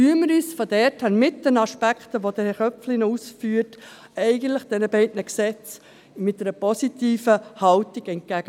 Nehmen wir unter den Aspekten, die Herr Köpfli noch ausführen wird, diese beiden Gesetze mit einer positiven Haltung entgegen.